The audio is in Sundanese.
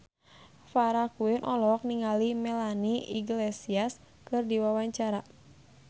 Farah Quinn olohok ningali Melanie Iglesias keur diwawancara